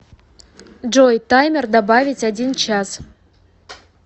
джой таймер добавить один час